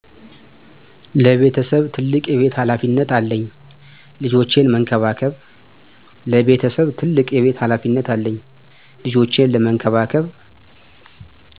ለቤተሰቤ ትልቅ የቤት ሃላፊነት አለኝ ልጆችን መንከባከብ